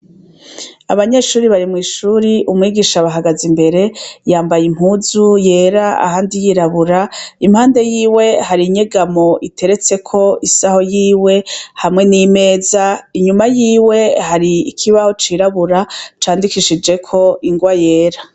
Abanyeshure bari mw'ishuri, umwigisha abahagaze imbere, yambaye impuzu yera ahandi yirabura. Impande yise hari inyegamo iteretseko isaho yiwe hamwe n'imeza. Inyuma yiwe hari ikibaho cirabura candikishijeko ingwa yera